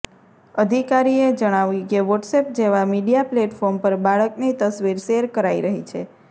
અધિકારીએ જણાવ્યું કે વોટ્સએપ જેવા મીડિયા પ્લેટફોર્મ પર બાળકની તસવીર શેર કરાઈ રહી છે